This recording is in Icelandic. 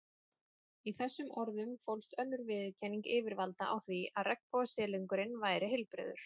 Í þessum orðum fólst önnur viðurkenning yfirvalda á því að regnbogasilungurinn væri heilbrigður.